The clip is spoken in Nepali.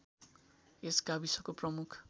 यस गाविसको प्रमुख